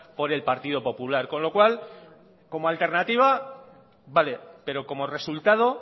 por el partido popular con lo cual como alternativa vale pero como resultado